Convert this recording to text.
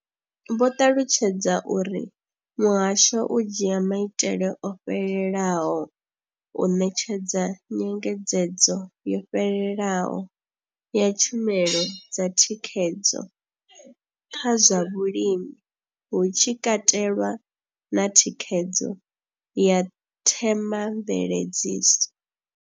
Vho ṱalutshedza uri muhasho u dzhia maitele o fhelelaho u ṋetshedza nyengedzedzo yo fhelelaho ya tshumelo dza thikhedzo kha zwa vhulimi, hu tshi katelwa na thikhedzo ya themamveledziso.